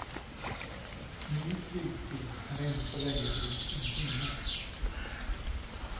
Ny flygtid är ännu så länge drygt en timme.